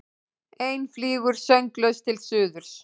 Ein flýgur sönglaus til suðurs.